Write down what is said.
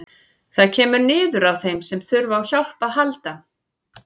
Það kemur niður á þeim sem þurfa á hjálp að halda.